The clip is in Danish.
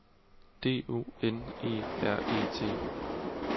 D O N E R E T